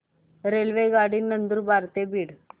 रेल्वेगाडी नंदुरबार ते बीड